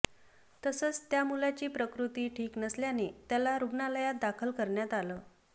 तसंच त्या मुलाची प्रकृती ठीक नसल्याने त्याला रुग्णालयात दाखल करण्यात आलं